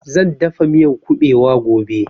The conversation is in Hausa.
Zan dafa miyan ƙubewa gobe